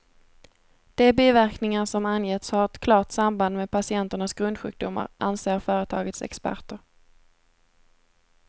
De biverkningar som angetts har ett klart samband med patienternas grundsjukdomar, anser företagets experter.